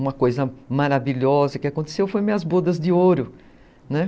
Uma coisa maravilhosa que aconteceu foi minhas bodas de ouro, né?